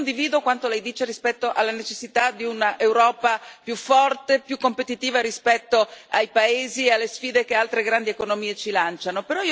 Io condivido quanto Lei dice rispetto alla necessità di un'Europa più forte, più competitiva rispetto ai paesi e alle sfide che altre grandi economie ci lanciano.